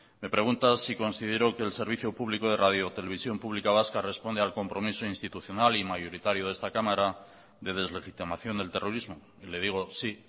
me pregunta si considero que el servicio público de radiotelevisión pública vasca responde al compromiso institucional y mayoritario de esta cámara de deslegitimación del terrorismo y le digo sí